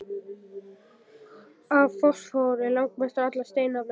Af fosfór er langmest allra steinefna